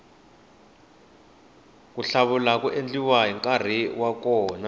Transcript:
ku hluvula ku endliwa hi nkarhi wa kona